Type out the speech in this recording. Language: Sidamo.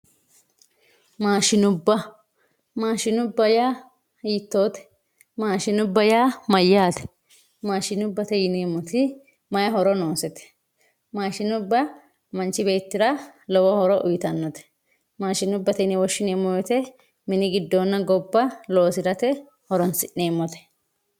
Maadhinubba, maashinubba yaa hiitotte, maashinubba yaa mayatte, maashinubbate yineemoti mayi horo noosete maashinubba manchu beettira lowo horo uyitanote maashinubbate yine woshineemo woyite minu gidoonna gobba horonsi'neemote